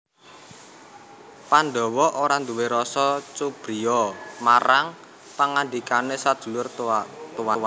Pandhawa ora nduwé rasa cubriya marang pangandikane sedulur tuwane